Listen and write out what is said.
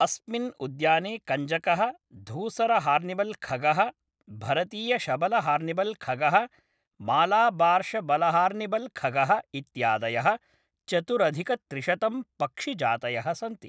अस्मिन् उद्याने कञ्जकः, धूसरहार्न्बिल्खगः, भरतीयशबलहार्न्बिल्खगः, मालाबार्शबलहार्न्बिल्खगः, इत्यादयः चतुरधिकत्रिशतं पक्षिजातयः सन्ति।